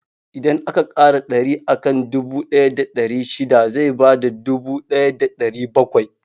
Idan aka ƙara ɗari akan dubu ɗaya da ɗari shida zai bada dubu ɗaya da ɗari bakwai.